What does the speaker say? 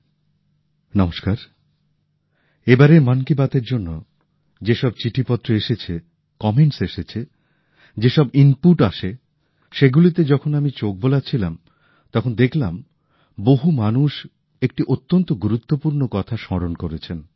আমার প্রিয় দেশবাসী নমস্কার এবারের মন কি বাত এর জন্য যেসব চিঠিপত্র এসেছে মন্তব্য এসেছে যেসব ইনপুট আসে সেগুলিতে যখন আমি চোখ বোলাচ্ছিলাম তখন দেখলাম বহু মানুষ একটি অত্যন্ত গুরুত্বপূর্ণ কথা স্মরণ করেছেন